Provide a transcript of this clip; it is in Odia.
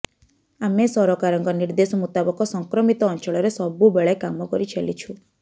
ଆମେ ସରକାରଙ୍କ ନିର୍ଦ୍ଦେଶ ମୁତାବକ ସଂକ୍ରମିତ ଅଞ୍ଚଳରେ ସବୁବେଳେ କାମ କରିଚାଲିଛୁ